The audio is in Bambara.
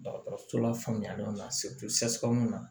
Dɔgɔtɔrɔso la faamuya na na